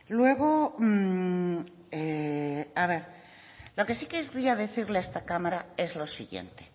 luego lo que sí querría decirle a esta cámara es lo siguiente